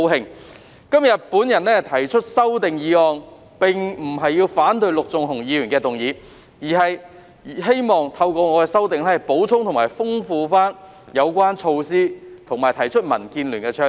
我今天提出修正案，並不是反對陸頌雄議員的議案，而是希望透過我的修訂，補充和豐富有關措施，以及提出民建聯的倡議。